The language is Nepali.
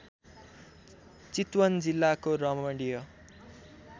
चितवन जिल्लाको रमणीय